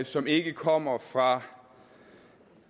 som ikke kommer fra